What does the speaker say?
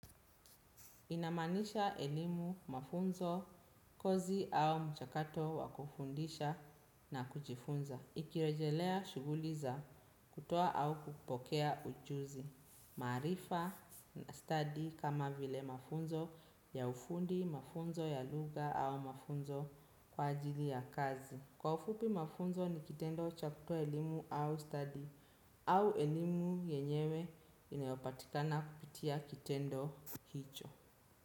Inamaanisha elimu, mafunzo, kozi au mchakato wa kufundisha na kujifunza. Ikirejelea, shughuli za kutoa au kupokea ujuzi. Maarifa na stadi kama vile mafunzo ya ufundi, mafunzo ya lugha au mafunzo kwa ajili ya kazi. Kwa ufupi, mafunzo ni kitendo cha kutoa elimu au stadi au elimu yenyewe inayopatikana kupitia kitendo hicho.